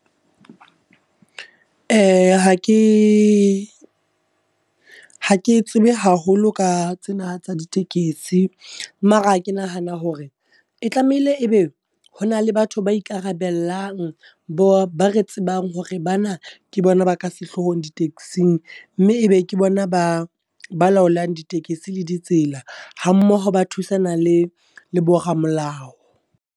Ha ke, ha ke tsebe haholo ka tsena tsa ditekesi. Mara ke nahana hore, e tlameile e be ho na le batho ba ikarabellang. Bo ba re tsebang hore bana ke bona ba ka sehlohong di taxing. Mme ebe ke bona ba, ba laolang ditekesi le ditsela, ha mmoho ba thusana le bo ramolao.